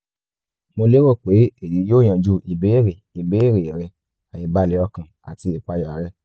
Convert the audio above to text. mo lérò pe eyi yoo yanju ibeere ibeere rẹ aibalẹ ọkàn ati ìpayà rẹ